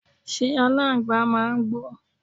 ṣé aláǹgbàá màá ń gbó?